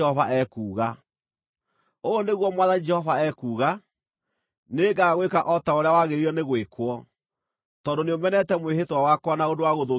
“ ‘Ũũ nĩguo Mwathani Jehova ekuuga: Nĩngagwĩka o ta ũrĩa wagĩrĩire nĩ gwĩkwo, tondũ nĩũmenete mwĩhĩtwa wakwa na ũndũ wa gũthũkia kĩrĩkanĩro kĩu.